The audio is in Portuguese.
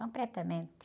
Completamente.